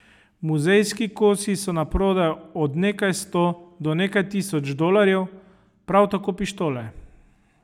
Muzejski kosi so na prodaj od nekaj sto do nekaj tisoč dolarjev, prav tako pištole.